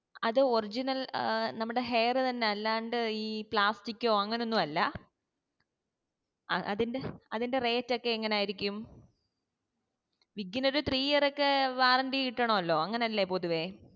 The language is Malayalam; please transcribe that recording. അത് original ഏർ നമ്മടെ hair തന്നെയാ അല്ലാണ്ട ഏർ ഈ plastic ഓ അങ്ങനെ ഒന്നും അല്ല അതിൻ്റെ rate ഒക്കേ എങ്ങനെയിരിക്കും wig നു ഒരു three year ഒക്കെ warranty കിട്ടണല്ലോ അങ്ങനല്ലേ പൊതുവെ